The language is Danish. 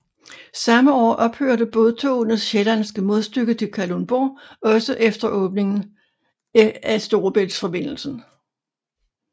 Samme år ophørte bådtogenes sjællandske modstykke til Kalundborg også efter åbningen af Storebæltsforbindelsen